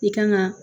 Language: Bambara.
I kan ga